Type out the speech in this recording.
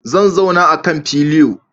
Zan zauna akan filio